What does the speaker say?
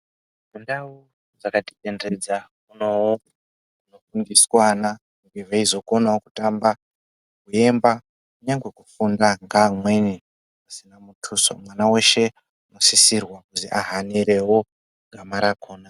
Mundau dzakatitenderedza muno..munofundiswana veizokonawo kutamba, kuemba nyangwe kufunda kwaamweni kusina mutuso. Mwana weshe unosisirwa kuti ahanirewo gama rakona.